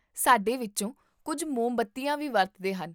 ਸਾਡੇ ਵਿੱਚੋਂ ਕੁੱਝ ਮੋਮਬੱਤੀਆਂ ਵੀ ਵਰਤਦੇ ਹਨ